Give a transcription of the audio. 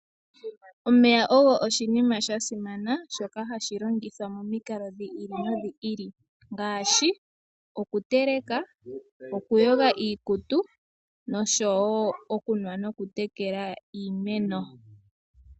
Omeya ogo oshinima shasimana shoka hashi longithwa momikalo dhi ili nodhi ili ngaashi, okuteleka, okuyoga iikutu nosho wo okunwa nokutekela iimeno.